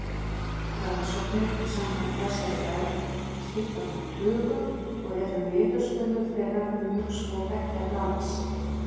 Rannsóknir samkvæmt þessari hefð skipta nú tugum og eru niðurstöður þeirra mjög svo beggja blands.